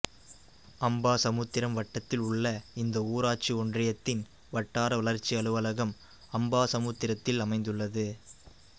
அம்பாசமுத்திரம் வட்டத்தில் உள்ள இந்த ஊராட்சி ஒன்றியத்தின் வட்டார வளர்ச்சி அலுவலகம் அம்பாசமுத்திரத்தில் அமைந்துள்ளது